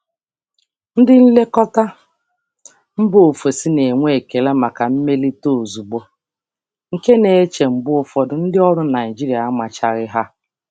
Ndị nlekọta si mba ọzọ na-enwe ekele maka mmelite ozugbo, nke na-adị mgbe ụfọdụ ka ihe na-amaghị ndị ọrụ Naịjirịa.